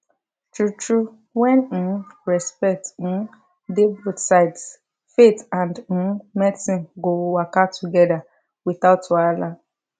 true true when um respect um dey both sides faith and um medicine go waka together without wahala